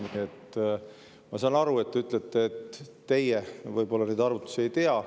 Nii et ma saan aru, kui te ütlete, et teie võib-olla neid arvutusi ei tea.